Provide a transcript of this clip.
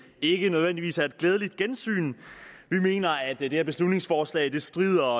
ikke nødvendigvis er et glædeligt gensyn vi mener at det her beslutningsforslag strider